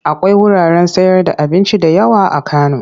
Akwai wuraren sayarda abinci da yawa a Kano.